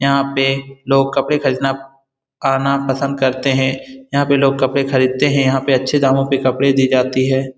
यहाँ पे लोग कपड़े खरीदना पसंद करते है यहाँ पे लोग कपड़े खरीदते है यहाँ पे अच्छे दामो पे कपड़े दी जाती है ।